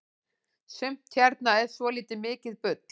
sumt hérna er svoltið mikið bull